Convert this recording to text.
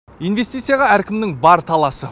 инвестицияға әркімнің бар таласы